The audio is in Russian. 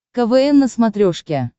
квн на смотрешке